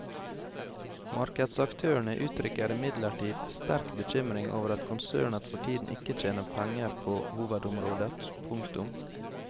Markedsaktørene uttrykker imidlertid sterk bekymring over at konsernet for tiden ikke tjener penger på hovedområdet. punktum